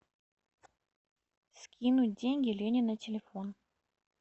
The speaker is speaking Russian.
скинуть деньги лене на телефон